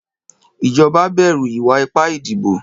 Ìjọba bẹ̀rù ìwà ipá ìdìbò.